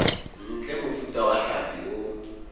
ntle mofuta wa hlapi o